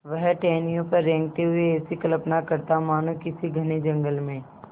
वह टहनियों पर रेंगते हुए ऐसी कल्पना करता मानो किसी घने जंगल में